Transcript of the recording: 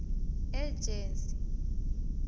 ejensi